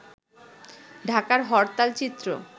ঢাকার হরতাল চিত্র